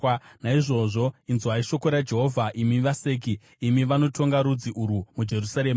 Naizvozvo inzwai shoko raJehovha, imi vaseki, imi vanotonga rudzi urwu muJerusarema.